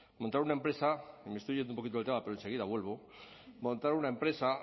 montar una empresa me estoy yendo un poquito del tema pero enseguida vuelvo montar una empresa